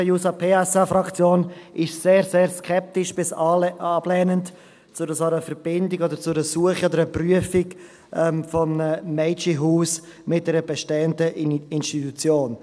Die SPJUSO-PSA-Fraktion ist sehr, sehr skeptisch bis ablehnend gegenüber einer solchen Verbindung, Suche oder Prüfung eines Mädchenhauses mit einer bestehenden Institution.